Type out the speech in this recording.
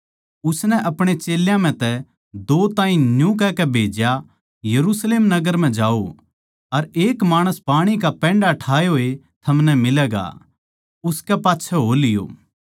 उसनै आपणे चेल्यां म्ह तै दो ताहीं न्यू कहकै भेज्या यरुशलेम नगर म्ह जाओ अर एक माणस पाणी का पैण्डा ठाए होए थमनै मिलैगा उसकै पाच्छै हो लियो